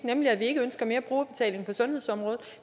er at vi ikke ønsker mere brugerbetaling på sundhedsområdet